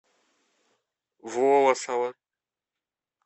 волосово